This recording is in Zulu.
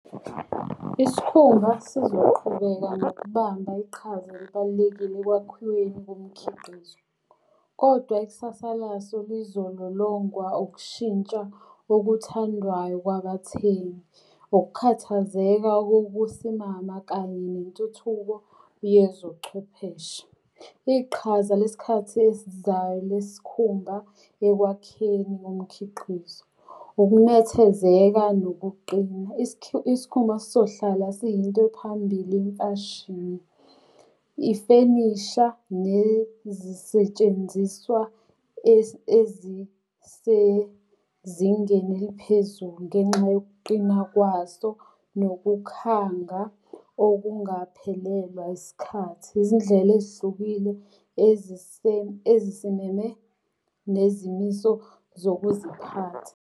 Isikhumba sizoqhubeka nokubamba iqhaza elibalulekile ekwakhiweni komkhiqizo. Kodwa ikusasa laso lizololongwa ukushintsha okuthandwayo kwabathengi, ukukhathazeka kokusimama, kanye nentuthuko yezobuchwepheshe. Iqhaza lesikhathi esizayo lesikhumba ekwakheni komkhiqizo, ukunethezeka nokuqina. Isikhumba sizohlala siyinto ephambili imfashini. Ifenisha nezisetshenziswa ezisezingene eliphezulu ngenxa yokuqina kwaso nokukhanga okungaphelelwa isikhathi. Izindlela ezihlukile ezisimeme nezimiso zokuziphatha.